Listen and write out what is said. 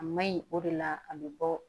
A ma ɲi o de la a bɛ bɔ